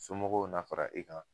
Somɔgɔw na fara i kan